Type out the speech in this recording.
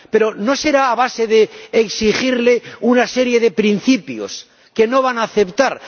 Pero no será a base de exigirle una serie de principios que no va a aceptar.